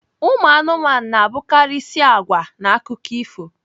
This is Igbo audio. Umụanụmanụ na-abụkarịisi agwa n'akụkọ ifo